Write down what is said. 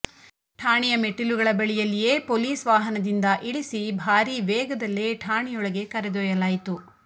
ಠಾಣೆಯ ಮೆಟ್ಟಿಲುಗಳ ಬಳಿಯಲ್ಲಿಯೇ ಪೊಲೀಸ್ ವಾಹನದಿಂದ ಇಳಿಸಿ ಭಾರೀ ವೇಗದಲ್ಲೇ ಠಾಣೆಯೊಳಗೆ ಕರೆದೊಯ್ಯಲಾಯಿತು